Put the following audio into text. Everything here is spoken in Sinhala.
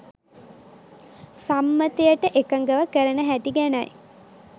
සම්මතයට එකඟව කරන හැටි ගැනයි.